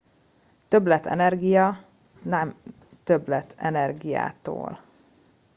"""többletenergia" not többlet energiától.